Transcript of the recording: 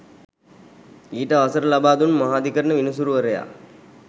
ඊට අවසර ලබාදුන් මහාධිකරණ විනිසුරුවරයා